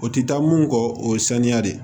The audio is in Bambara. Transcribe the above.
O tɛ taa mun kɔ o ye saniya de ye